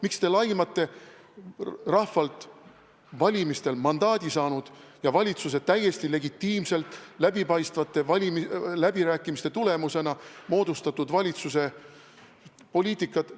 Miks te laimate rahvalt valimistel mandaadi saanud ja täiesti legitiimselt, läbipaistvate läbirääkimiste tulemusena moodustatud valitsuse poliitikat?